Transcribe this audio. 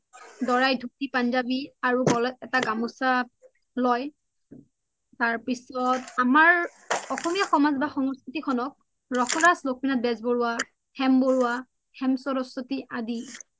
দোৰাই ধুতি পুন্জবি আৰু গল্ত এটা গামুচা লই তাৰৰ্পিছ্ত আমাৰ অসমীয়া সমজ বা সংস্কৃতিখন্ক ৰসৰাজ লক্ষ্মীনাথ বেজবৰুৱা, হেম বৰুৱা, হেম সৰস্ৱতি আদি